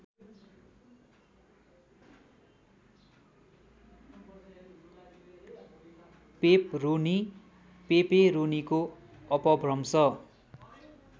pepperoni पेपेरोनीको अपभ्रंश